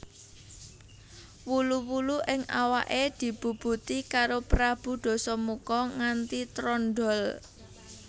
Wulu wulu ing awake dibubuti karo Prabu Dasamuka nganti trondhol